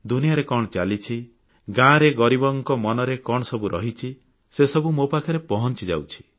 ଦୁନିଆରେ କଣ ଚାଲିଛି ଗାଁରେ ଗରିବଙ୍କ ମନରେ କଣ ସବୁ ରହିଛି ସେସବୁ ମୋ ପାଖରେ ପହଂଚୁଛି